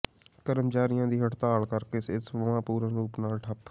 ਕਰਮਚਾਰੀਆਂ ਦੀ ਹੜਤਾਲ ਕਰਕੇ ਸਿਹਤ ਸੇਵਾਵਾਂ ਪੂਰਨ ਰੂਪ ਨਾਲ ਠੱਪ